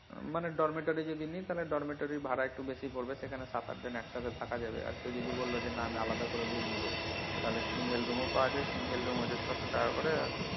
মানে ডরমিটরে যদি নেই তাহলে ডরমিটরে ভাড়া একটু বেশি পড়বে সেখানে সাত আট জন একসাথে থাকা যাবে আর কেউ যদি বললো যে না আমি আলাদা করে room নিব তাহলে single room ও পাওয়া যায় single room হচ্ছে ছয়শ টাকা করে,